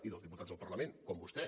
i dels diputats del parlament com vostè